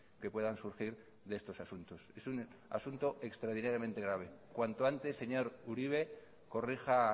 que puedan surgir de estos asuntos es un asunto extraordinariamente grave cuanto antes señor uribe corrija